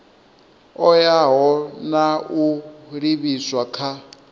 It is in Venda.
oea na u livhiswa kha